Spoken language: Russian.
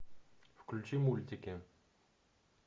включи мультики